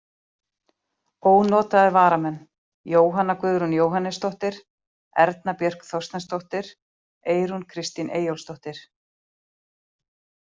Ónotaðir varamenn: Jóhanna Guðrún Jóhannesdóttir, Erna Björk Þorsteinsdóttir, Eyrún Kristín Eyjólfsdóttir.